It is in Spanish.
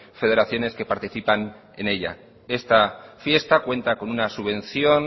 federaciones que participan en ella esta fiesta cuenta con una subvención